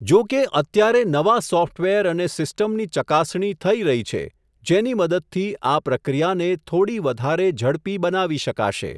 જોકે અત્યારે નવા સોફ્ટવેર અને સિસ્ટમની ચકાસણી થઈ રહી છે, જેની મદદથી આ પ્રક્રિયાને, થોડી વધારે ઝડપી બનાવી શકાશે.